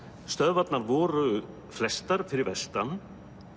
stöðvarnar voru flestar fyrir vestan